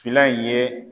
Fila in ye